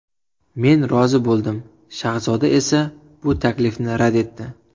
Men rozi bo‘ldim, Shahzoda esa bu taklifni rad etdi.